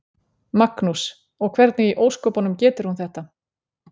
Magnús: Og hvernig í ósköpunum getur hún þetta?